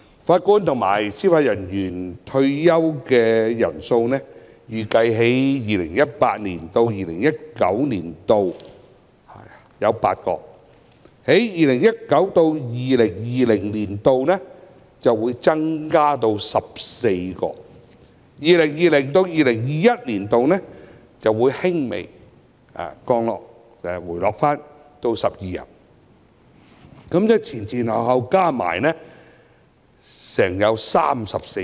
法官及司法人員退休人數預計在 2018-2019 年度為8人 ，2019-2020 年度則會增加至14人，在 2020-2021 年度輕微回落至12人，總共有34人。